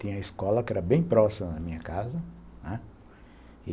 Tinha escola que era bem próxima da minha casa, né. E